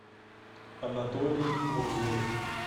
анатолий мурзоев